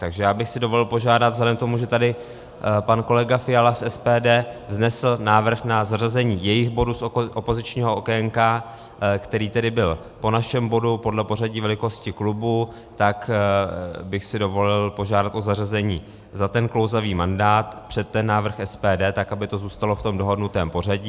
Takže já bych si dovolil požádat vzhledem k tomu, že tady pan kolega Fiala z SPD vznesl návrh na zařazení jejich bodu z opozičního okénka, který tedy byl po našem bodu podle pořadí velikosti klubů, tak bych si dovolil požádat o zařazení za ten klouzavý mandát před ten návrh SPD, tak aby to zůstalo v tom dohodnutém pořadí.